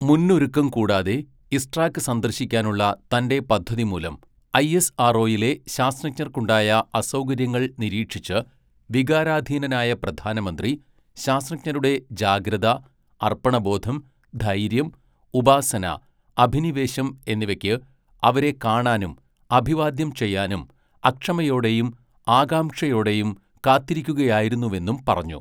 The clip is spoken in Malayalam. മുന്നൊരുക്കം കൂടാതെ ഇസ്ട്രാക് സന്ദർശിക്കാനുള്ള തന്റെ പദ്ധതിമൂലം ഐഎസ്ആർഒയിലെ ശാസ്ത്രജ്ഞർക്കുണ്ടായ അസൗകര്യങ്ങൾ നിരീക്ഷിച്ച്, വികാരാധീനനായ പ്രധാനമന്ത്രി, ശാസ്ത്രജ്ഞരുടെ ജാഗ്രത, അർപ്പണബോധം, ധൈര്യം, ഉപാസന, അഭിനിവേശം എന്നിവയ്ക്ക് അവരെ കാണാനും അഭിവാദ്യം ചെയ്യാനും അക്ഷമയോടെയും ആകാംക്ഷയോടെയും കാത്തിരിക്കുകയായിരുന്നുവെന്നും പറഞ്ഞു.